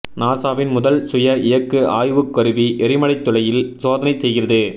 நாசாவின் முதல் சுய இயக்கு ஆய்வுக் கருவி எரிமலைத் துளையில் சோதனை செய்கிறது